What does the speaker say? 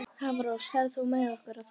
Hafrós, ferð þú með okkur á þriðjudaginn?